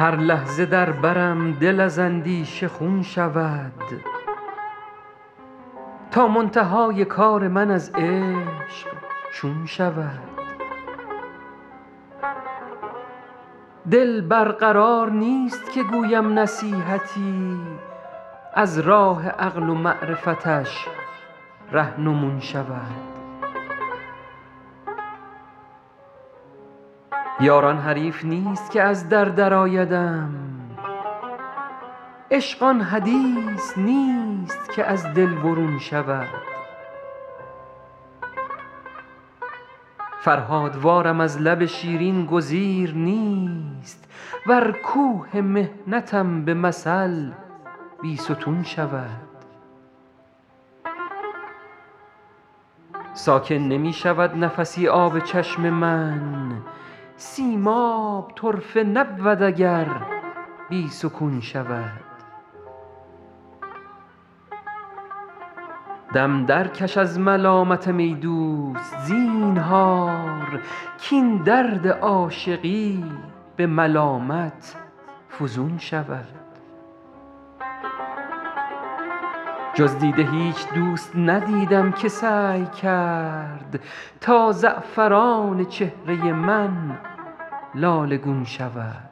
هر لحظه در برم دل از اندیشه خون شود تا منتهای کار من از عشق چون شود دل بر قرار نیست که گویم نصیحتی از راه عقل و معرفتش رهنمون شود یار آن حریف نیست که از در درآیدم عشق آن حدیث نیست که از دل برون شود فرهادوارم از لب شیرین گزیر نیست ور کوه محنتم به مثل بیستون شود ساکن نمی شود نفسی آب چشم من سیماب طرفه نبود اگر بی سکون شود دم درکش از ملامتم ای دوست زینهار کاین درد عاشقی به ملامت فزون شود جز دیده هیچ دوست ندیدم که سعی کرد تا زعفران چهره من لاله گون شود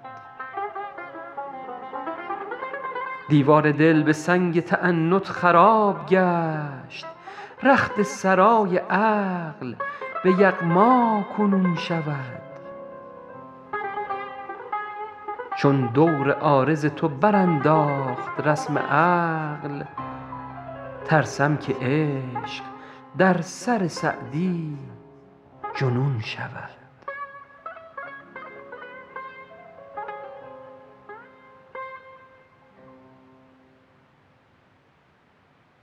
دیوار دل به سنگ تعنت خراب گشت رخت سرای عقل به یغما کنون شود چون دور عارض تو برانداخت رسم عقل ترسم که عشق در سر سعدی جنون شود